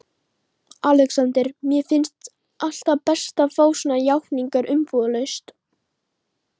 ALEXANDER: Mér finnst alltaf best að fá svona játningar umbúðalaust.